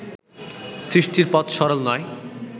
সৃষ্টির পথ সরল নয়